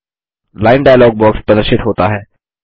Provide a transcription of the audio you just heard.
line dialog box प्रदर्शित होता है